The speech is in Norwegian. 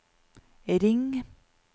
ring